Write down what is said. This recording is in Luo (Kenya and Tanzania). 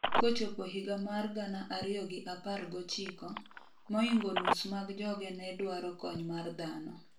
kochopo higa mar gana ariyo gi apar gochiko, moingo nus mag joge ne dwaro kony mar dhano